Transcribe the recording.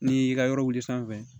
N'i y'i ka yɔrɔ wuli sanfɛ